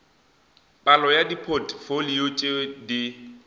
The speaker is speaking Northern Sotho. palo ya dipotfolio tše di